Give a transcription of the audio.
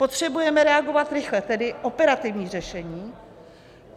Potřebujeme reagovat rychle, tedy operativní řešení.